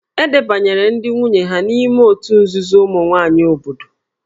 E debanyere ndị nwunye ha n'ime òtù nzuzo ụmụ nwaanyị obodo